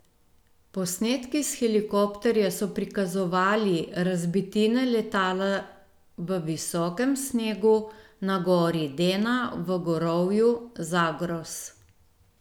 Posnetki s helikopterja so prikazovali razbitine letala v visokem snegu na gori Dena v gorovju Zagros.